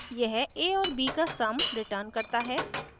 यह a और b का sum returns करता है